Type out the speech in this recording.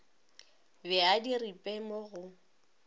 be a diripe mo go